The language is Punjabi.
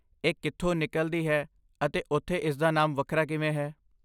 ਇਹ ਕਿੱਥੋਂ ਨਿਕਲਦੀ ਹੈ ਅਤੇ ਉੱਥੇ ਇਸਦਾ ਨਾਮ ਵੱਖਰਾ ਕਿਵੇਂ ਹੈ?